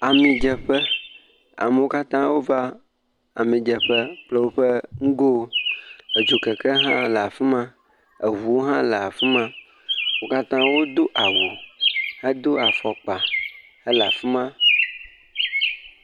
Ami dzeƒe, amowo kata o va ami dzeƒe kple o ƒe ŋugowo, edzokeke hã le afima, eʋuwo hã le afima, wo kata wo do awu, he do afɔkpa, he le afima.